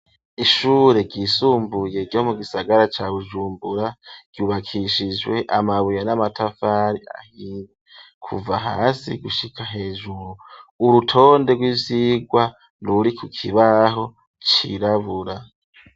Ishure ryisumbuye ryo mu gisagara cya Bujumbura ryubakishijwe amabuye n'amatafari ahiye kuva hasi gushika hejuru, urutonde rw'ivyirwa ruri ku kibaho cirabura.